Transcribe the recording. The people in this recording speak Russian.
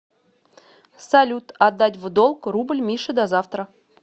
салют отдать в долг рубль мише до завтра